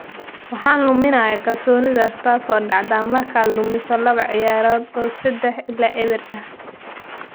Waxaan luminay kalsoonidaas, taasoo dhacda markaad lumiso laba ciyaarood oo 3-0 ah.